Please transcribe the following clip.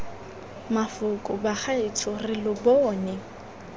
mafoko bagaetsho re lo bone